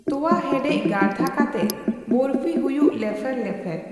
ᱛᱚᱣᱟ ᱦᱮᱰᱮᱡ ᱜᱟᱲᱫᱷᱟ ᱠᱟᱛᱮᱜ ᱾ᱵᱚᱨᱯᱷᱤ ᱦᱩᱭᱩᱜ ᱞᱮᱯᱷᱮᱨ ᱞᱮᱯᱷᱮᱨ᱾